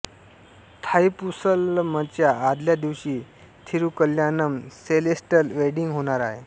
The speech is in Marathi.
थाइपुसलमच्या आदल्या दिवशी थिरुकल्यानम सेलेस्टल वेडिंग होणार आहे